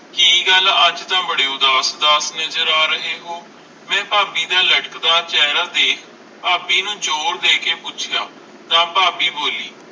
ਕਿ ਗੱਲ ਅਜੇ ਤਾ ਬਾਰੇ ਉਦਾਸ ਉਦਾਸ ਨਾਜਰ ਆ ਰਹੇ ਹੋ ਮਈ ਫਾਬੀ ਦਾ ਲਟਕਦਾ ਚੇਹਰਾ ਦੇਖ ਫਾਬੀ ਨੂੰ ਜ਼ੋਰ ਦੇਖ ਪੌਚਿਆਂ ਤਾ ਫਾਬੀ ਬੋਲੀ